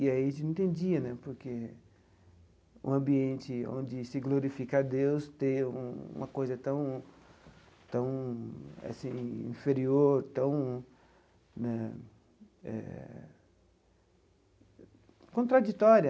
E a gente não entendia né, porque um ambiente onde se glorifica Deus, ter uma coisa tão tão assim inferior, tão né eh... contraditória.